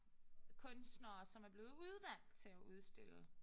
Kunstnere som er blevet udvalgt til at udstille